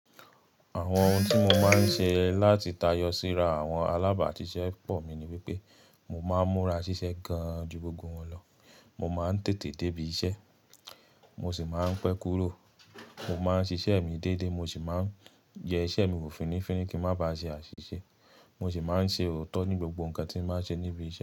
Àwọn ohun tí mo máa ń ṣe láti tayọ síra àwọn alábàáṣiṣẹ́ pọ̀ mi ni wípé mo máa ń múra ṣiṣẹ́ gan-an ju gbogbo wọn lọ, mo máa ń tètè débí iṣẹ́, mo sì máa ń pẹ́ kúrò. Mo máa ń ṣiṣẹ́ mi déédé, mo sì máa ń yẹ iṣẹ́ mi wò fínnífínní kí ń má ba ṣe àṣìṣe. Mo sì máa ń ṣe òótọ́ ní gbogbo nǹkan tí m bá ṣe níbi iṣẹ́.